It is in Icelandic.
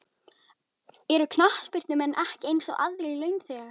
Eru knattspyrnumenn ekki eins og aðrir launþegar?